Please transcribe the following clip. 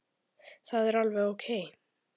Það er alveg ókei.